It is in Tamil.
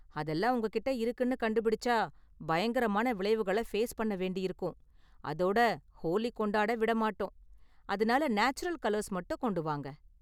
அதெல்லாம் உங்ககிட்ட இருக்குனு கண்டுபிடிச்சா, பயங்கரமான விளைவுகளை ஃபேஸ் பண்ண வேண்டியிருக்கும் அதோட ஹோலி கொண்டாட விட மாட்டோம், அதனால நேச்சுரல் கலர்ஸ் மட்டும் கொண்டு வாங்க!